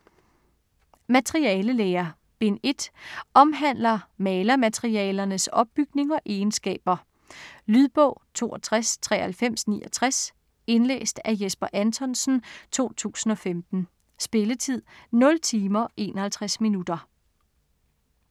Materialelære Bind 1. Omhandler malermaterialernes opbygning og egenskaber. Lydbog 629369 Indlæst af Jesper Anthonsen, 2015. Spilletid: 0 timer, 51 minutter.